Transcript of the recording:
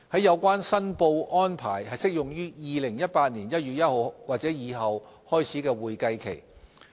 有關申報安排適用於2018年1月1日或以後開始的會計期。